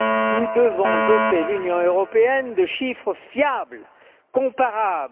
Nous devons doter l'Union européenne de chiffres fiables, comparables.